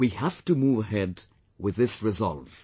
We have to move ahead with this resolve